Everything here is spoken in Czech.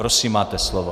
Prosím, máte slovo.